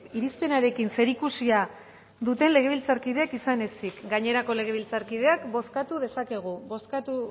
irizpenarekin zerikusia duten legebiltzarkideek izan ezik gainerako legebiltzarkideak bozkatu dezakegu bozkatu